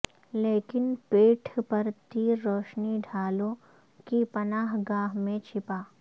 لیکن پیٹھ پر تیر روشنی ڈھالوں کی پناہ گاہ میں چھپا